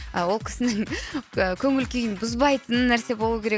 а ол кісінің көңіл күйін бұзбайтын нәрсе болу керек